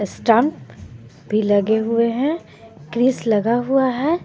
Stump भी लगे हुए है लगा हुआ है.